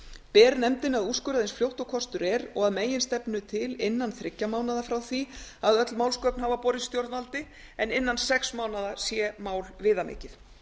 ber nefndinni að úrskurða eins fljótt og kostur er og að meginstefnu til innan þriggja mánaða frá því að öll málsgögn hafa borist stjórnvaldi en innan sex mánaða sé mál viðamikið